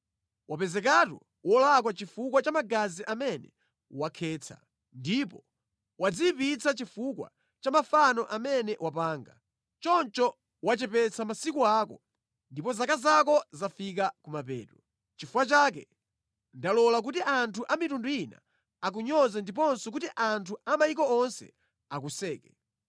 wapezekatu wolakwa chifukwa cha magazi amene wakhetsa, ndipo wadziyipitsa chifukwa cha mafano amene wapanga. Choncho wachepetsa masiku ako, ndipo zaka zako zafika kumapeto. Nʼchifukwa chake ndalola kuti anthu a mitundu ina akunyoze ndiponso kuti anthu a mayiko onse akuseke.